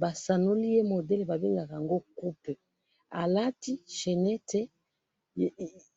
ba sanuliye model bangaka yango coup, a lati chenete